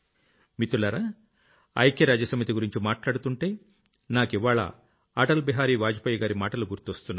మిత్రులారా ఐక్యరాజ్య సమితి గురించి మాట్లాడుతుంటే నాకివ్వాళ్ల అటల్ బిహారీ వాజ్ పేజ్ గారి మాటలు గుర్తొస్తున్నాయి